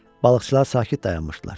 Balıqçılar sakit dayanmışdılar.